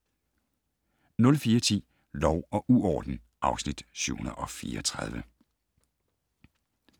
04:10: Lov og uorden (Afs. 734)